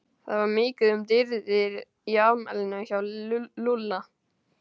Það var mikið um dýrðir í afmælinu hjá Lúlla.